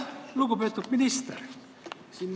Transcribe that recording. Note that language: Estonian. Lugupeetud minister!